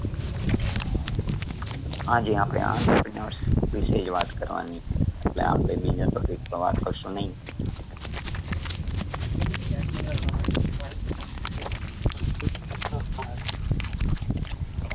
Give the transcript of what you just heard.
આજે આપણે entrepreneur વિશે જ વાત કરવાની છે એટલે આપણે બીજા topic પર વાત કરશું નઈ.